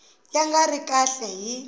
ya nga ri kahle hi